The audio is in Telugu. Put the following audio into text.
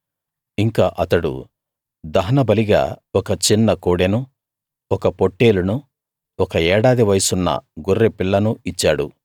ఇంకా అతడు దహనబలిగా ఒక చిన్న కోడెనూ ఒక పొట్టేలునూ ఒక ఏడాది వయసున్న గొర్రె పిల్లనూ ఇచ్చాడు